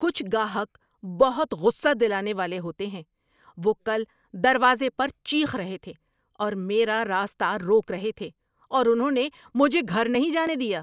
کچھ گاہک بہت غصہ دلانے والے ہوتے ہیں۔ وہ کل دروازے پر چیخ رہے تھے اور میرا راستہ روک رہے تھے، اور انہوں نے مجھے گھر نہیں جانے دیا!